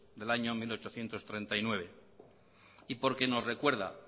del año mil ochocientos treinta y nueve y porque nos recuerda